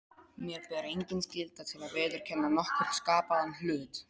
Mér ber engin skylda til að viðurkenna nokkurn skapaðan hlut.